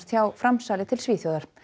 hjá framsali til Svíþjóðar